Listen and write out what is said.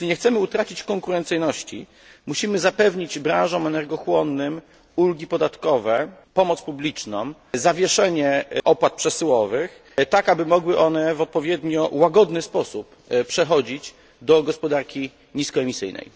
Jeśli nie chcemy utracić konkurencyjności, musimy zapewnić branżom energochłonnym ulgi podatkowe, pomoc publiczną, zawieszenie opłat przesyłowych tak, aby mogły one w odpowiednio łagodny sposób przechodzić na gospodarkę niskoemisyjną.